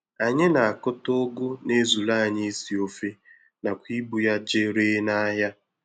Anyị na-akụta Ụgụ na-ezuru anyị isi ofe nakwa ibu ya jee ree n'ahịa.